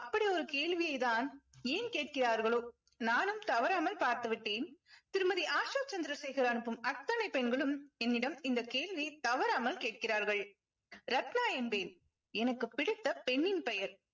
அப்படி ஒரு கேள்வியைதான் ஏன் கேட்கிறார்களோ நானும் தவறாமல் பார்த்துவிட்டேன் திருமதி ஆஷா சந்திரசேகர் அனுப்பும் அத்தனை பெண்களும் என்னிடம் இந்த கேள்வி தவறாமல் கேட்கிறார்கள் ரத்னா என்பேன் எனக்கு பிடித்த பெண்ணின் பெயர்